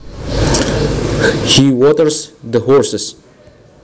He waters the horses